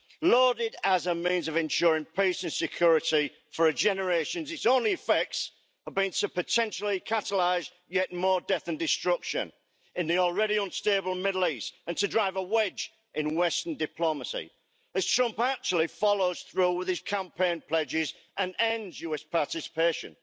Lauded as a means of ensuring peace and security for generations, its only effects have been to potentially catalyse yet more death and destruction in the already unstable Middle East, and to drive a wedge in western diplomacy, as Trump actually follows through with his campaign pledges and ends US participation.